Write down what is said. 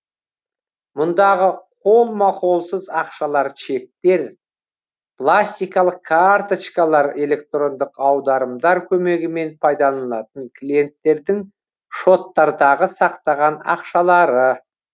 мұндағы қолма қолсыз ақшалар чектер пластикалық карточкалар электрондық аударымдар көмегімен пайдаланылатын клиенттердің шоттардагы сақтаған ақшалары